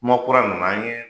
Kuma kura nana an ye